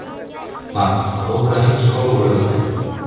Vagn, bókaðu hring í golf á laugardaginn.